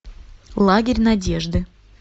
лагерь надежды